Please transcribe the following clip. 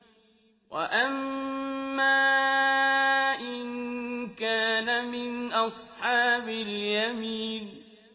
وَأَمَّا إِن كَانَ مِنْ أَصْحَابِ الْيَمِينِ